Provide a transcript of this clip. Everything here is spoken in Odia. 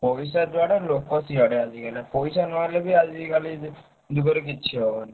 ପଇସା ଯୁଆଡେ ଲୋକ ସିଆଡେ ଆଜିକାଲି। ପଇସା ନହେଲେ ବି ଆଜିକାଲି ଯୁଗରେ କିଛି ହବନି।